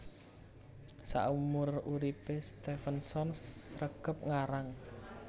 Saumur uripé Stevenson sregep ngarang